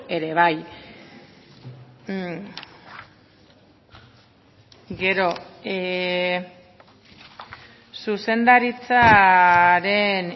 ere bai gero zuzendaritzaren